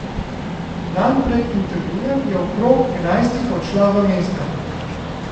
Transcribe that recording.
Dan pred intervjujem je okrog enajstih odšla v mesto.